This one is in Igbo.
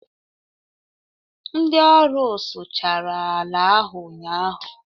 ndị ọrụ sụchara ala ahu ụnyaahụ